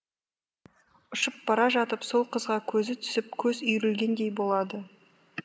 ұшып бара жатып сол қызға көзі түсіп көзі үйірілгендей болады